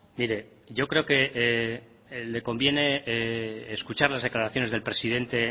mire yo creo que le conviene escuchar las declaraciones del presidente